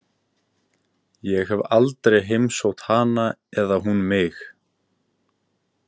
Ég hef aldrei heimsótt hana eða hún mig.